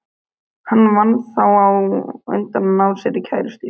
Hann varð þá á undan að ná sér í kærustu.